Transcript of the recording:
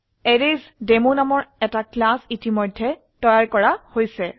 এৰেইচডেমো নামৰ একটা ক্লাস ইতিমধ্যে তৈয়াৰ কৰা হৈছে